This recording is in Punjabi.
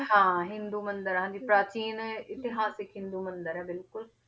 ਹਾਂ ਹਿੰਦੂ ਮੰਦਿਰ ਹਾਂਜੀ, ਪ੍ਰਾਚੀਨ ਇਤਿਹਾਸਕ ਹਿੰਦੂ ਮੰਦਿਰ ਹੈ ਬਿਲਕੁਲ